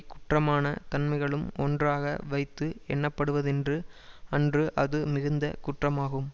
குற்றமான தன்மைகளும் ஒன்றாக வைத்து எண்ணப்படுவதென்று அன்று அது மிகுந்த குற்றமாகும்